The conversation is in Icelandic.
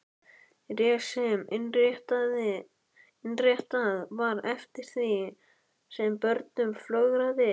Ris sem innréttað var eftir því sem börnum fjölgaði.